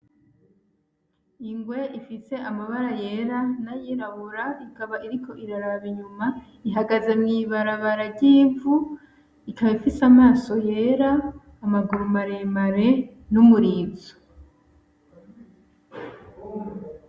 Ingwe ifise amabara yera n,ayirabura ikaba iriko iraraba inyuma ihageze mw'ibarabara ry,ivu ikaba ifise amaso yera amaguru maremare n,umurizo.